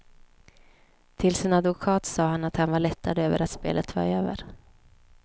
Till sin advokat sade han att han var lättad över att spelet var över.